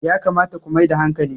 yakamata ku Mai da hankali!